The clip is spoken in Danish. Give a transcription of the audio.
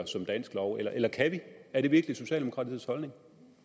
som dansk lov eller eller kan vi er det virkelig socialdemokratiets holdning